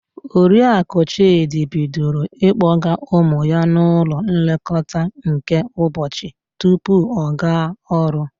Oriaku Chịdị bidoro ịkpọga ụmụ ya n'ụlọ nlekọta nke ụbọchi tupu ọ gaa ọrụ.